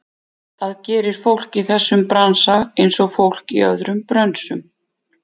Það gerir fólk í þessum bransa, einsog fólk í öðrum brönsum.